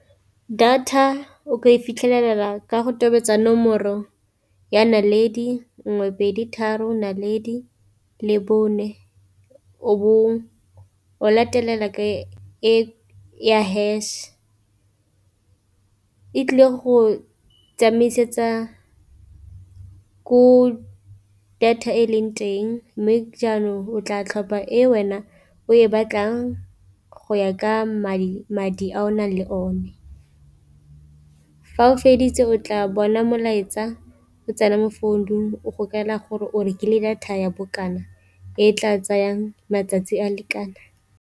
Data o ka e fitlhelela ka go tobetsa nomoro ya naledi nngwe pedi tharo naledi le bone o bo o latelela ka ya hash, e tlile go tsamaisetsa ko data e leng teng mme jaanong o tla tlhopha e wena o e batlang go ya ka madi madi a o nang le o ne. Fa o feditse o tla bona molaetsa o tsena mo founung o go kaela gore o rekile data ya bokana e tla tsayang matsatsi a lekana.